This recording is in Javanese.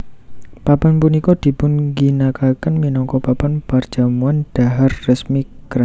Papan punika dipun ginakaken minangka papan perjamuan dhahar resmi kerajaan